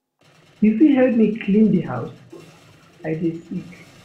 You fit help me clean di house? I dey sick.